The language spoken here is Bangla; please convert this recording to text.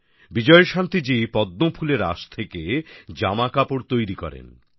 বিজয়শান্তি জি পদ্মফুলের আঁশ থেকে জামাকাপড় তৈরী করেন